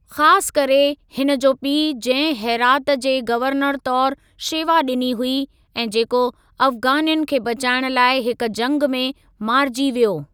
खास करे हिन जो पीउ जंहिं हेरात जे गवर्नर तौरु शेवा ॾिनी हुई ऐं जेको अफ़गानियुनि खे बचाइण लाइ हिक जंग में मारिजी वियो।